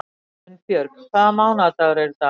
Unnbjörg, hvaða mánaðardagur er í dag?